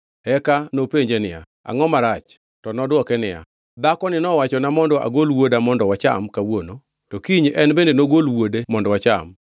Eka nopenje niya, “Angʼo marach?” To nodwoke niya, “Dhakoni nowachona mondo agol wuoda mondo wacham kawuono to kiny en bende nogol wuode mondo wacham.”